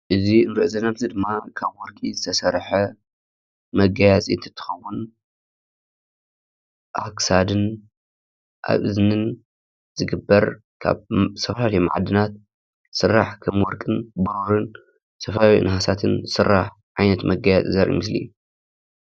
እዚ እንሪኦ ዘለና ምስሊ ድማ ካብ ወርቂ ዝተሰርሐ መጋየፂ እትኸውን ኣብ ክሳድን ኣብ እዝንን ዝግበር ካብ ዝተፈላለዩ ማዕድናት ዝስራሕ ከም ወርቅን ፣ብሩርን ዝተፈላዩ ናሃሳትን ዝስራሕ ዓይነት መጋየፀፂ ዘርኢ ምሰሊ እዩ፡፡